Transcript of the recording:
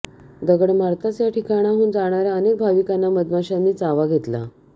दगड मारताच या ठिकाणाहून जाणाऱ्या अनेक भविकांना मधमाश्यांनी चावा घेतला